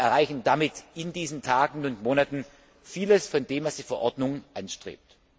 Wir erreichen damit in diesen Tagen und Monaten vieles von dem, was die Verordnung anstrebt.